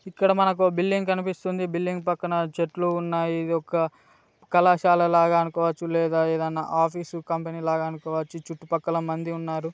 ఇక్కడ మనకి ఓ బిల్డింగ్ కనిపిస్తుంది బిల్డింగ్ పక్కన చెట్లు ఉన్నాయి ఇది ఒక కళాశాలగా అనుకోవచ్చు లేదా ఒక ఆఫీసు కంపెనీ అనుకోవచ్చు చుట్టుపక్కలమంది ఉన్నారు.